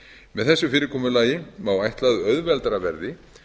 með þessu fyrirkomulagi má ætla að auðveldara verði